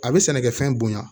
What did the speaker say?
A bɛ sɛnɛkɛfɛn bonya